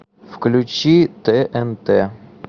включи тнт